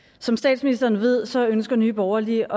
som statsministeren ved ønsker nye borgerlige